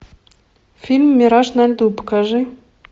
фильм мираж на льду покажи